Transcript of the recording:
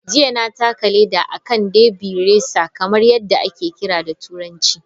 Jiya, na taka leda a kan " derby racer kamar yadda ake kira da Turanci ".